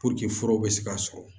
fura bɛ se ka sɔrɔ